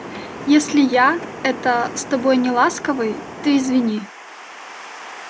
если я это с тобой неласковый ты извини